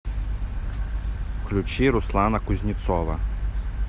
включи руслана кузнецова